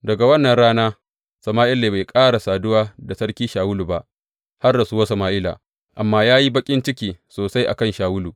Daga wannan rana Sama’ila bai ƙara saduwa da sarki Shawulu ba, har rasuwar Sama’ila, amma ya yi baƙin ciki sosai a kan Shawulu.